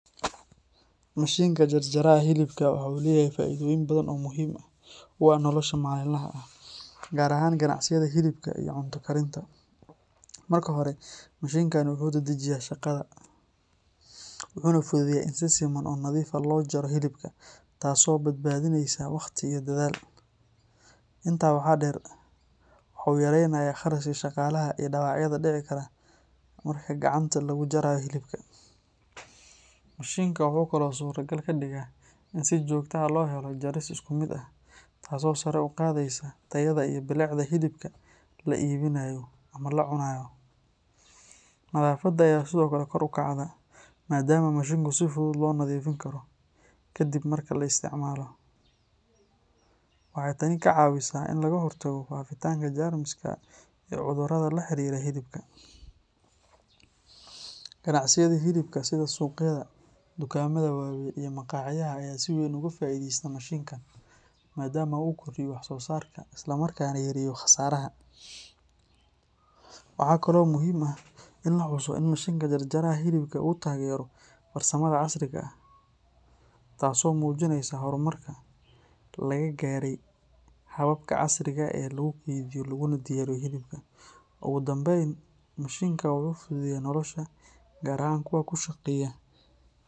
Mashinka jarjaraha hilibka waxa uu leeyahay faa'iidooyin badan oo muhiim u ah nolosha maalinlaha ah, gaar ahaan ganacsiyada hilibka iyo cunto karinta. Marka hore, mashinkani wuxuu dedejiyaa shaqada, wuxuuna fududeeyaa in si siman oo nadiif ah loo jaro hilibka, taasoo badbaadinaysa waqti iyo dadaal. Intaa waxaa dheer, waxa uu yaraynayaa kharashka shaqaalaha iyo dhaawacyada dhici kara marka gacanta lagu jarayo hilibka. Mashinka wuxuu kaloo suurtagal ka dhigayaa in si joogto ah loo helo jaris isku mid ah, taasoo sare u qaadaysa tayada iyo bilicda hilibka la iibinayo ama la cunaayo. Nadaafadda ayaa sidoo kale kor u kacda, maadaama mashinku si fudud loo nadiifin karo kadib marka la isticmaalo. Waxay tani ka caawisaa in laga hortago faafitaanka jeermiska iyo cudurrada la xiriira hilibka. Ganacsiyada hilibka sida suuqyada, dukaamada waaweyn iyo maqaaxiyaha ayaa si weyn uga faa’iidaysta mashinkan, maadaama uu kordhiyo wax-soo-saarka isla markaana yareeyo khasaaraha. Waxaa kaloo muhiim ah in la xuso in mashinka jarjaraha hilibka uu taageero farsamada casriga ah, taasoo muujinaysa horumarka laga gaaray hababka casriga ah ee lagu kaydiyo laguna diyaariyo hilibka. Ugu dambayn, mashinkan wuxuu fududeeyaa nolosha, gaar ahaan kuwa ku shaqeeya.